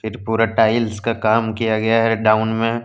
पूरा टाइल्स का काम किया गया है डाउन में।